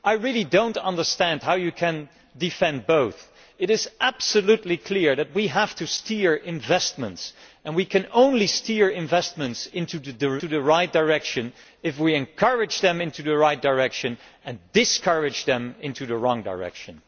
I really do not understand how you can defend both. It is absolutely clear that we have to steer investments, and we can only steer investments in the right direction if we encourage them in the right direction and discourage them from taking the wrong direction.